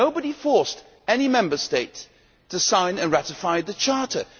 Nobody forced any Member State to sign and ratify the Charter.